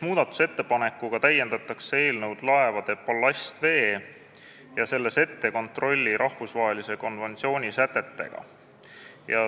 Muudatusettepanekuga täiendatakse eelnõu laevade ballastvee ja selle setete kontrolli rahvusvahelise konventsiooni sätetega.